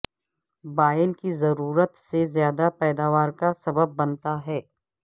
بائل کی ضرورت سے زیادہ پیداوار کا سبب بنتا ہے